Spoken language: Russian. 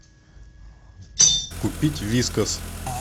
купить вискас